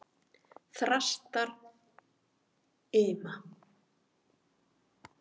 Þrastarima